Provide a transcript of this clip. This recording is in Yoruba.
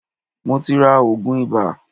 Mo ti ra òògùn ibà.